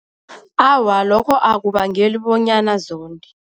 Awa, lokho akubangeli bonyana zonde.